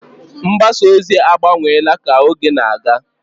Mgbasa ozi agbanweela ka oge na-aga.